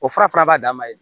O fura fana b'a dan ma dɛ